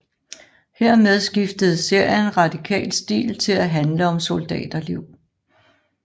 Hermed skiftede serien radikalt stil til at handle om soldaterlivet